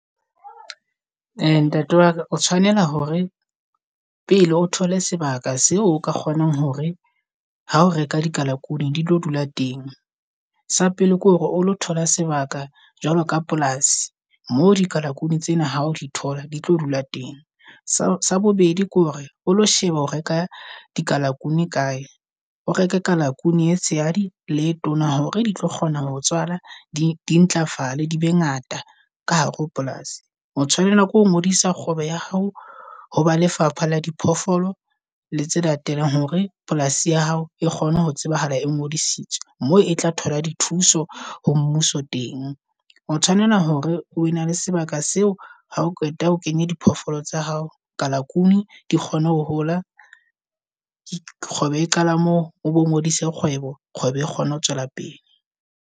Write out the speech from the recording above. Eya ntate waka o tshwanela hore pele o thole sebaka seo o ka kgonang hore ha o reka dikalakunu di tlo dula teng. Sa pele ke hore o lo thola sebaka jwalo ka polasi. Mo dikalakunu tsena ha o di thola di tlo dula teng. Sa bobedi ke hore o lo sheba ho reka dikalakunu kae, o reka ka la kuno e tshehadi le e tsona. Hore di tlo kgona ho tshwala di di ntlafale di be ngata ka hare ho polasi. O tshwanela ke hoo ngodisa kgwebo ya hao, ho ba lefapha la diphoofolo le tse latelang hore polasi ya hao e kgone ho tsebahala e ngodisitsweng. Moo e tla thola di thuso ho mmuso teng. O tshwanela hore o na le sebaka seo. Ha o qeta ho kenya diphoofolo tsa hao kalakunu di kgone ho hola. Kgwebo e qala moo, obo ngodise kgwebo Kgwebo e kgone ho tswela pele.